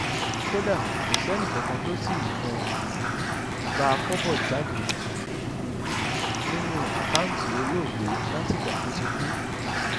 kódà kò sẹ́nìkankan tó tí um ì gba kọ́bọ̀ jáde um nínú àkáùntì olóògbé látìgbà tó ti kú